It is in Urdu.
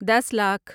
دس لاکھ